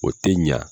O tɛ ɲa